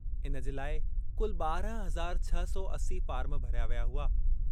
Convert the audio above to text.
इन जे लाइ कुल ॿारहं हज़ार छह सौ असी फ़ार्म भरिया विया हुआ।